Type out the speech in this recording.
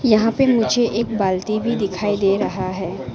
यहां पे मुझे एक बाल्टी भी दिखाई दे रहा है।